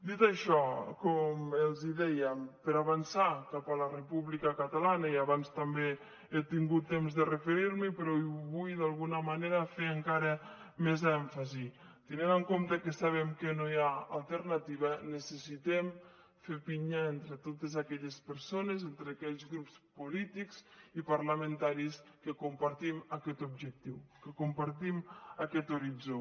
dit això com els dèiem per avançar cap a la república catalana i abans també he tingut temps de referir m’hi però vull d’alguna manera fer hi encara més èmfasi tenint en compte que sabem que no hi ha alternativa necessitem fer pinya entre totes aquelles persones entre aquells grups polítics i parlamentaris que compartim aquest objectiu que compartim aquest horitzó